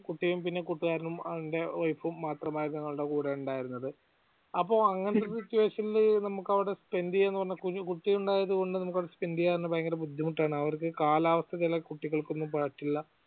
കുട്ടിയും പിന്നെ കൂട്ടുകാരനും അവന്ടെ wife ഉം മാത്രം ആയിരുന്നു ഞങ്ങളുടെ കൂടെ ഉണ്ടായിരുന്നത് അപ്പൊ അങ്ങനൊരു situation ല് നമ്ക് അവടെ spend ചെയ്യാന്ന് പറഞ്ഞ അവടെ കുഞ്ഞ് കുട്ടിയുണ്ടായതുകൊണ്ട് നമ്ക് അവടെ spend ചെയ്യാൻ വളരെ ബുദ്ധിമുട്ട് ആണ് അവർക്കു കാലാവസ്ഥ ചില കുട്ടികൾക്കു ഒന്നും പറ്റില്ല